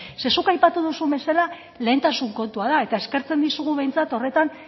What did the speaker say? zeren zuk aipatu duzun bezala lehentasun kontua da eta eskertzen dizugu behintzat horretan